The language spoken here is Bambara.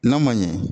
N'a man ɲɛ